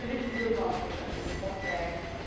A gente precisa do nosso fechamento, não consegue.